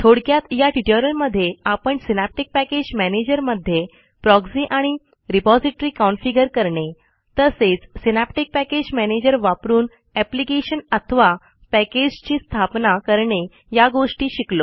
थोडक्यात या ट्युटोरियलमधे आपण सिनॅप्टिक पॅकेज मॅनेजरमध्ये प्रॉक्झी आणि रिपॉझिटरी कॉन्फिगर करणे तसेच सिनॅप्टिक पॅकेज मॅनेजर वापरून एप्लिकेशन अथवा पॅकेजची स्थापना करणे या गोष्टी शिकलो